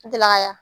N delila ka